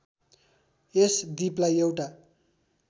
यस द्वीपलाई एउटा